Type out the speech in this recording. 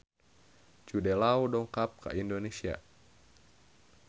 Jude Law dongkap ka Indonesia